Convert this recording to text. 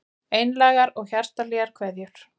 Einlægar og hjartahlýjar kveðjur